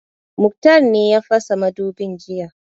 Muktar ne ya fasa mudubin jiya